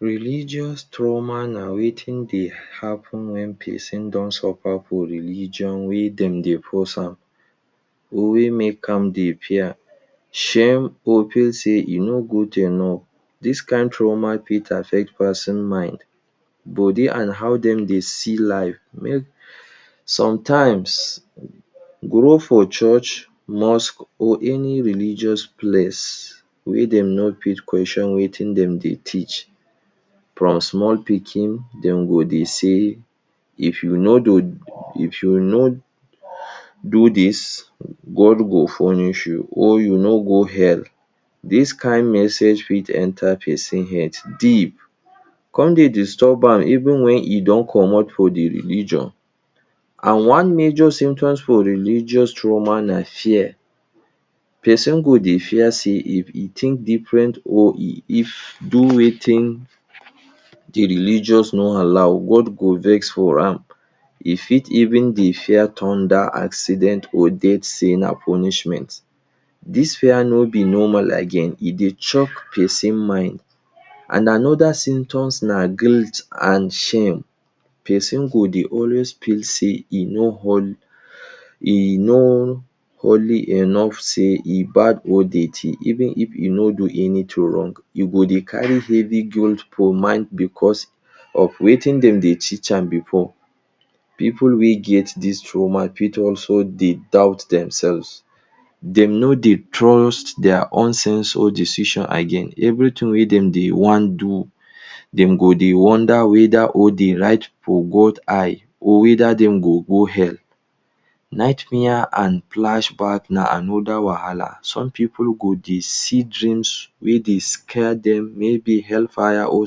Religious trauma na wetin dey happen when person don suffer for religion wey dem dey force am, or wey make am dey fear, shame, or feel say e no good enough. Dis kind trauma fit affect person mind, body, and how dem dey see life. Make Sometimes grow for church, mosque, or any religious place wey dem no fit question wetin dem dey teach, from small pikin dem go dey say, “If you no do if you no do dis, God go punish you,” or “You no go hell.” Dis kind message fit enter person head deep con dey disturb am, even wen e don comot for the religion. And one major symptoms for religious trauma na fear. Person go dey fear say if e think different or e if do wetin the religious no allow, God go vex for am. E fit even dey fear thunder, accident, or death say na punishment. Dis fear no be normal again, e dey chok person mind. And another symptoms na guilt and shame. Person go dey always feel say e no holy enough, say e bad or dirty, even if e no do anything wrong. E go dey carry heavy guilt for mind because of wetin dem dey teach am before. People wey get dis trauma fit also dey doubt themselves. Dem no dey trust their own sense or decision again. Everything wey dem dey wan do, dem go dey wonder weda or d right for God eye?” or “weda dem go go hell?” Nightmare and flashback na anoda wahahla. Some people go dey see dreams wey dey scare dem, maybe hellfire or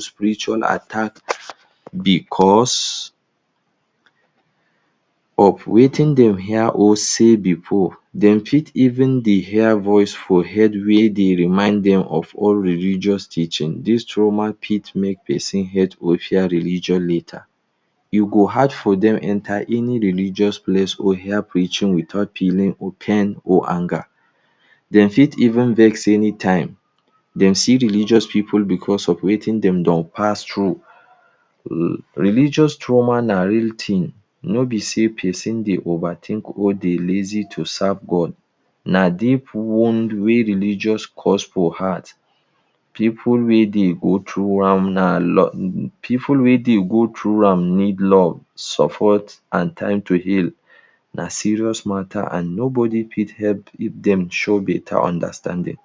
spiritual attacks, because of wetin dem hear or see before. dem fit even dey hear voice for head wey dey remind dem of old religious teaching. This trauma fit make person hate or fear religion later. E go hard for dem enter any religious place or hear preaching without feeling pain, or anger. Dem fit even vex anytime dem see religious pipu because of wetin dem don pass through. Religious trauma na real thing. No be say person dey overthink or dey lazy to serve God. Na deep wound wey religious cause for heart. Pipu wey dey go through am na Pipu wey dey go through am need love, support, and time to heal. Na serious matter, and nobody fit help dem show better understanding.